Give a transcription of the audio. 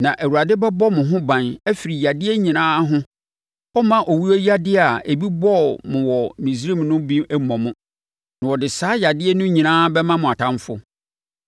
Na Awurade bɛbɔ mo ho ban afiri yadeɛ nyinaa ho. Ɔremma owuyadeɛ a ebi bɔɔ mo wɔ Misraim no bi mmɔ mo, na ɔde saa yadeɛ no nyinaa bɛma mo atamfoɔ.